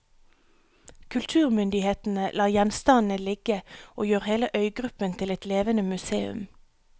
Kulturmyndighetene lar gjenstandene ligge og gjør hele øygruppen til et levende museum.